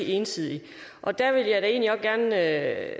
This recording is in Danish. ene side af